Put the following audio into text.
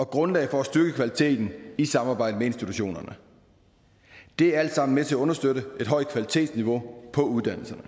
grundlag for at styrke kvaliteten i samarbejdet med institutionerne det er alt sammen med til at understøtte et højt kvalitetsniveau på uddannelserne